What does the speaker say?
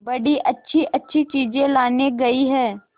बड़ी अच्छीअच्छी चीजें लाने गई है